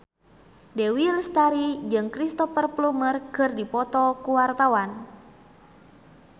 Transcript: Dewi Lestari jeung Cristhoper Plumer keur dipoto ku wartawan